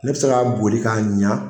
Ne bɛ se ka boli k'a ɲɛ